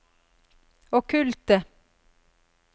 okkulte